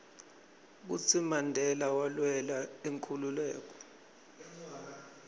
kutsi mandela walwela inkhululeko